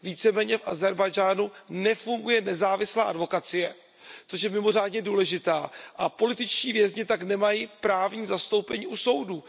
Víceméně v Ázerbájdžánu nefunguje nezávislá advokacie, což je mimořádně důležitá, a političtí vězni tak nemají právní zastoupení u soudů.